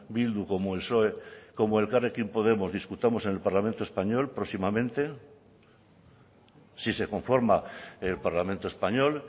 bildu como el psoe como elkarrekin podemos discutamos en el parlamento español próximamente si se conforma el parlamento español